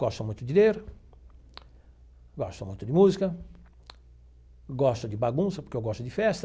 Gosto muito de ler, gosto muito de música, gosto de bagunça, porque eu gosto de festa,